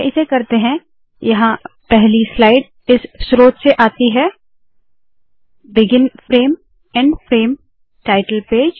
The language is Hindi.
पहले इसे करते है यहाँ पहली स्लाइड इस स्रोत से आती है - begin frame end frame title page